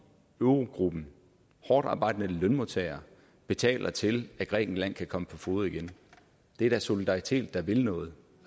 eurogruppen hårdtarbejdende lønmodtagere betaler til at grækenland kan komme på fode igen det er da solidaritet der vil noget